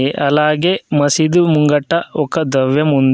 అలాగే మసీదు ముంగట ఒక దవ్యం ఉంది.